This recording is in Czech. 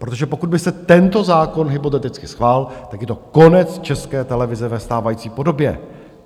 Protože pokud by se tento zákon hypoteticky schválil, tak je to konec České televize ve stávající podobě.